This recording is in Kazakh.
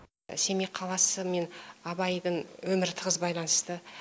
семей қаласы мен абайдың өмірі тығыз байланысты